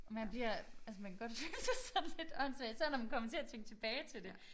Og man bliver altså man kan godt føle sig sådan lidt åndssvag især når man kommer til at tænke tilbage til det